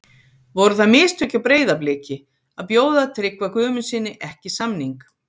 Voru það mistök hjá Breiðabliki að bjóða Tryggva Guðmundssyni ekki samning?